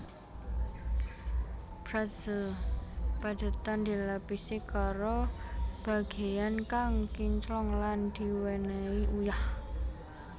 Pretzel padhetan dilapisi karo bagéyan kang kinclong lan diwènèhi uyah